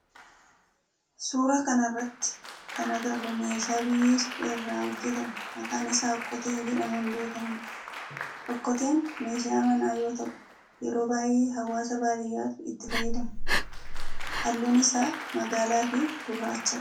Suuraa kana irratti kana agarru meeshaa biyyee suphee irraa hojjetame maqaan isaa okkotee jedhamuun beekamudha. Okkoteen meeshaa manaa yoo ta'u yeroo baayyee hawwaasa baadiyaatu itti fayyadama. Halluun isaa magaalaa fi gurraachadha.